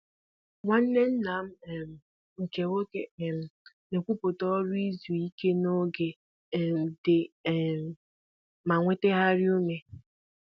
Nwanne nna m um nke nwoke na-ekwuputa uru izu ike n'oge um dị um ma nwetagharịa ume